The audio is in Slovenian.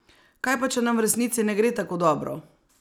Kaj pa če nam v resnici ne gre tako dobro?